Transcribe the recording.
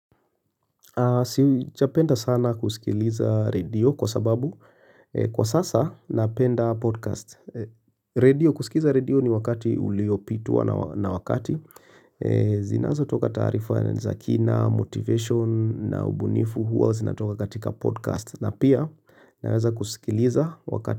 Sijapenda sana kusikiliza redio kwa sababu kwa sasa napenda podcast redio kusikiliza redio ni wakati uliopitua na wakati Zinazotoka tarifa ya na za kina, motivation na ubunifu huwa zinatoka katika podcast na pia naweza kusikiliza wakati.